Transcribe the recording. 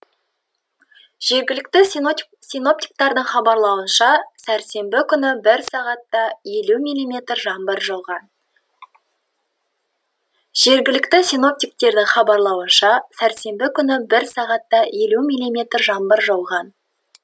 жергілікті синоптиктердің хабарлауынша сәрсенбі күні бір сағатта елу мм жаңбыр жауған жергілікті синоптиктердің хабарлауынша сәрсенбі күні бір сағатта елу мм жаңбыр жауған